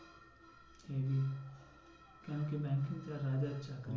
কেন কি